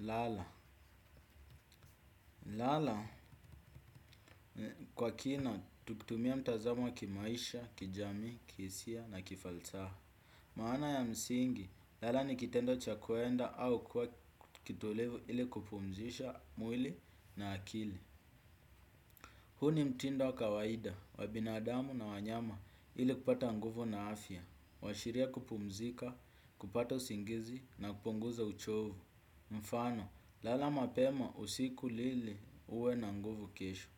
Lala, lala kwa kina tuktumia mtazamo wa kimaisha, kijamii, kiisia na kifalsaha. Maana ya msingi, lala ni kitendo cha kuenda au kwa kitolevu ili kupumzisha mwili na akili. Hu ni mtindo wa kawaida, wa binadamu na wanyama ili kupata nguvu na afya. Huashiria kupumzika, kupata usingizi na kupunguza uchovu. Mfano, lala mapema usiku lili uwe na nguvu kesho.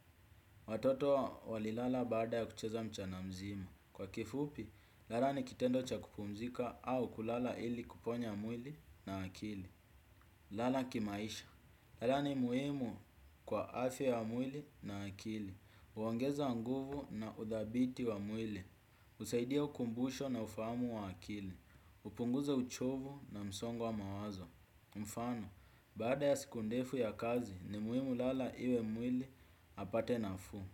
Watoto walilala baada ya kucheza mchana mzima. Kwa kifupi, lala ni kitendo cha kupumzika au kulala ili kuponya mwili na akili. Lala kimaisha. Lala ni muhimu kwa afia ya mwili na akili huongeza nguvu na udhabiti wa mwili. Usaidia ukumbusho na ufaamu wa akili. Upunguza uchovu na msongo wa mawazo. Mfano, baada ya siku ndefu ya kazi ni muimu lala iwe mwili apate nafuu.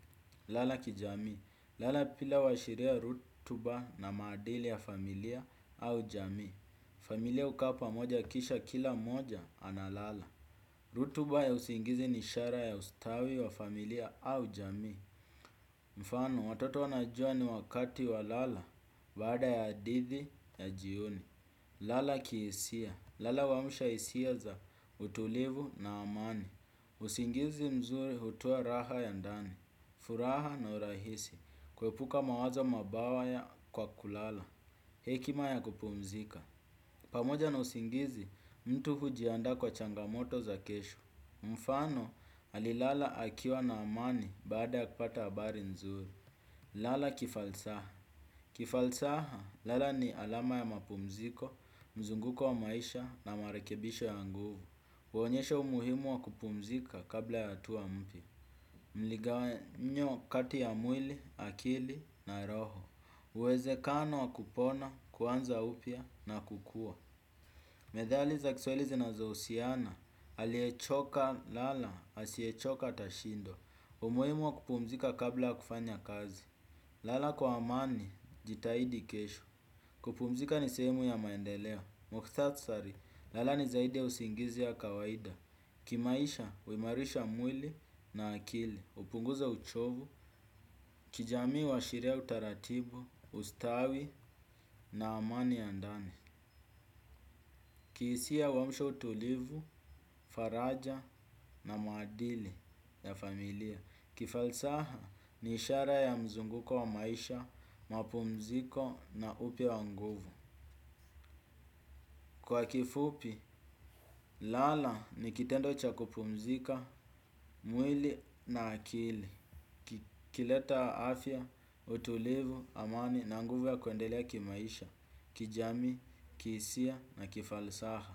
Lala kijamii. Lala pila washiria rutuba na maadili ya familia au jamii. Familia ukaa pamoja kisha kila mmoja ana lala. Rutuba ya usingizi ni ishara ya ustawi wa familia au jamii. Mfano, watoto wanajua ni wakati wa lala baada ya hadidhi ya jioni. Lala kiisia, lala uamusha isia za utulivu na amani. Usingizi mzuri hutoa raha ya ndani, furaha na urahisi. Kuepuka mawazo mabawaya kwa kulala, hekima ya kupumzika. Pamoja na usingizi mtu hujianda kwa changamoto za kesho. Mfano alilala akiwa na amani baada ya kupata habari nzuri. Lala kifalsaha. Kifalsaha, lala ni alama ya mapumziko, mzunguko wa maisha na marakebisho ya nguvu. Huonyesha umuhimu wa kupumzika kabla ya hatuwa mpya. Mligawanyo kati ya mwili, akili na roho. Uwezekano wa kupona, kuanza upya na kukua. Medhali za kiswaili zinazousiana. Aliechoka lala, asiechoka tashindo. Umuhimu wa kupumzika kabla ya kufanya kazi. Lala kwa amani, jitahidi kesho. Kupumzika ni sehemu ya maendeleo. Mukithatsari, lala ni zaidi ya usingizi ya kawaida. Kimaisha, uimarisha mwili na akili. Upunguza uchovu, kijamii huashiria utaratibu, ustawi na amani ya ndani. Kiisia uamsha utulivu, faraja na maadili ya familia. Kifalsaha ni ishara ya mzunguko wa maisha, mapumziko na upya wa nguvu. Kwa kifupi, lala ni kitendo cha kupumzika, mwili na akili. Kileta afya, utulivu, amani na nguvu ya kuendelea kimaisha, kijamii, kiisia na kifalsaha.